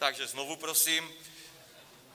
Takže znovu prosím.